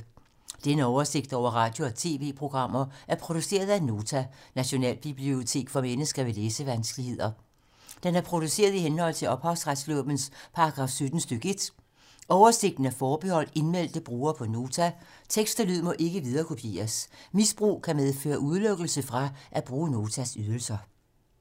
Denne oversigt over radio og TV-programmer er produceret af Nota, Nationalbibliotek for mennesker med læsevanskeligheder. Den er produceret i henhold til ophavsretslovens paragraf 17 stk. 1. Oversigten er forbeholdt indmeldte brugere på Nota. Tekst og lyd må ikke viderekopieres. Misbrug kan medføre udelukkelse fra at bruge Notas ydelser.